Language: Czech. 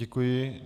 Děkuji.